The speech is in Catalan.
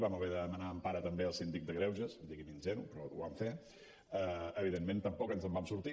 vam haver de demanar empara també al síndic de greuges digui’m ingenu però ho vam fer evidentment tampoc ens en vam sortir